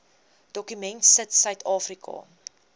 dokument sit suidafrika